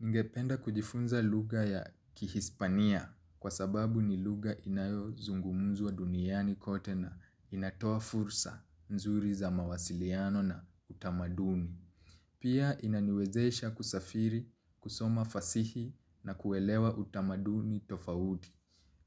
Ningependa kujifunza lugha ya kihispania kwa sababu ni lugha inayo zungumuzwa duniani kote na inatoa fursa nzuri za mawasiliano na utamaduni. Pia inaniwezesha kusafiri kusoma fasihi na kuelewa utamaduni tofauti.